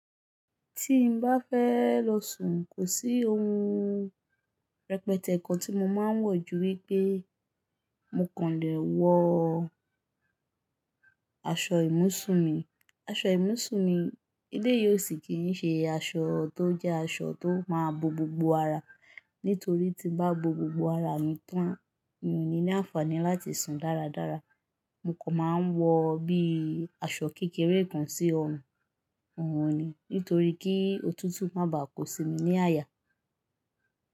Tí n bá fẹ́ lọ sùn, kò sí ohun rẹpẹtẹ kan tí mo máa ń wọ̀ ju wípé mo kàn lè wọ aṣọ ìmúṣùn mi. Aṣọ ìmúṣùn mi, eleyii o si kìn ṣe aṣọ tó jẹ́ aṣọ tó máa bo gbogbo ara, nítorí tí bá bo gbogbo ara mi tán, mi ò ní ní àǹfààní láti sùn dáradára. Mo kàn máa ń wọ bí i aṣọ kékeré kan sí ọrùn, òun ni nítorí kí òtútù má bá kó sí mi ní àyà.